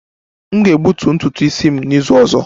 M ga-egbutu ntutu isi m n'izu ọzọ